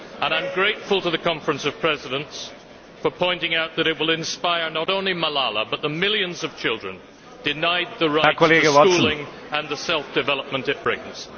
I am grateful to the Conference of Presidents for pointing out that it will inspire not only Malala but the millions of children denied the right to schooling and the self development it brings.